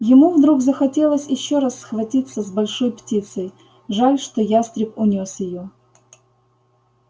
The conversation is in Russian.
ему вдруг захотелось ещё раз схватиться с большой птицей жаль что ястреб унёс её